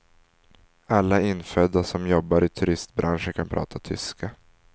Alla infödda som jobbar i turistbranschen kan prata tyska.